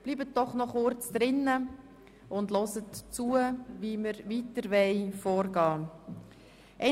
Bleiben Sie bitte noch kurz im Saal und hören Sie zu, wie wir weiter vorgehen wollen.